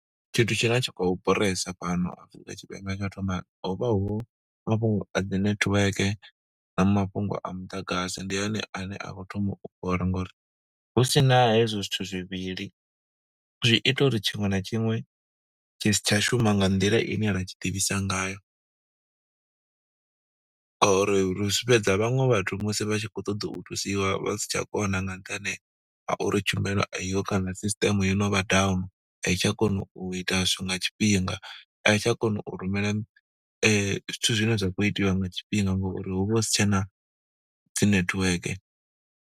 Tshithu tshine tsha khou boresa fhano Afrika Tshipembe, tsha u thoma hovha hu mafhungo a dzi netiweke, na mafhungo a muḓagasi. Ndi one ane a khou thoma u bora ngo uri husina hezwo zwithu zwivhili, zwi ita uri tshiṅwe na tshiṅwe tshi si tsha shuma nga nḓila ine ra tshi ḓivhisa ngayo. Ngo uri zwi fhedza vhaṅwe vhathu musi vha tshi khou ṱoḓa u thusiwa, vha si tsha kona nga nṱhani ha uri tshumelo a i ho kana system ya no vha down. A i tsha kona u ita zwithu nga tshifhinga, a i tsha kona u rumela zwithu zwine zwa khou itiwa nga tshifhinga ngo uri hu vha hu si tshena dzi netiweke.